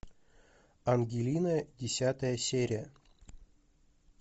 ангелина десятая серия